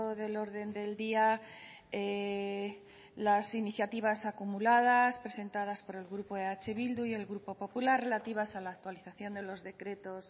del orden del día las iniciativas acumuladas presentadas por el grupo eh bildu y el grupo popular relativas a la actualización de los decretos